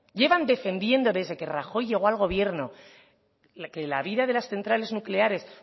llevan defendiendo desde que rajoy llegó al gobierno que la vida de las centrales nucleares